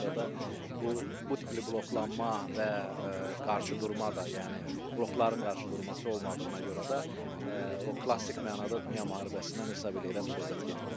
Ona görə də bu bu tipli bloklanma və qarşıdurma da, yəni blokların qarşıdurması olmadığına görə də o klassik mənada dünya müharibəsindən hesab eləyirəm söhbət getməyəcək.